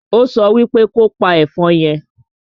Ó so wípe kopa ẹ̀fọn yẹn!